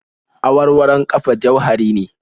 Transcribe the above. Awarwaron ƙafa jauhari ne